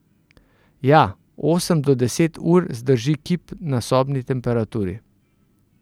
Ja, osem do deset ur zdrži kip na sobni temperaturi.